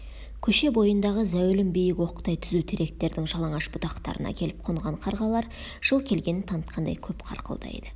көше бойындағы зәулім биік оқтай түзу теректердің жалаңаш бұтақтарына келіп қонған қарғалар жыл келгенін танытқандай көп қарқылдайды